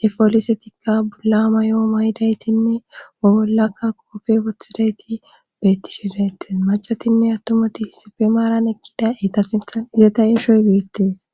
he poolisetikka bolla may7o maydaytinne wo bollakka koofe wothidayti beettishe dayetes macatinne attomati hissife maaran ekkida eta sinthan izeta eeshoy geettees